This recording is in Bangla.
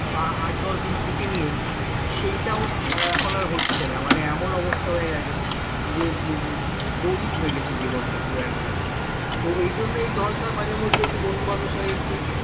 আট দশ দিন ছুটি নিয়ে সেইটাও এখন আর হচ্ছে না মানে এমন অবস্থা হয়ে গেছে যে boring হয়ে গেছে জীবনটা পুরো একদম তো এই জন্যই দরকার মাঝেমধ্যে একটু বন্ধুবান্ধবের সঙ্গেএকটু